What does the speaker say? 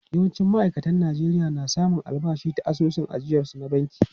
Yawancin ma’aikatan Najeriya na samun albashi ta asusun ajiyarsu na banki.